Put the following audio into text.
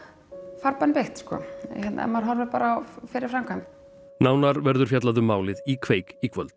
farbanni beitt sko ef maður horfir bara á fyrri framkvæmd nánar verður fjallað um málið í kveik í kvöld